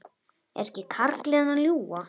Er ekki karlinn að ljúga?